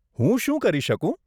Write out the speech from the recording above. હું શું કરી શકું?